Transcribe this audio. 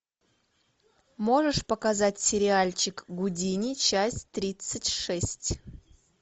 можешь показать сериальчик гудини часть тридцать шесть